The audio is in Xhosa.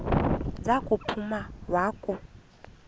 za kuphuma wakhu